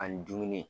Ani dumuni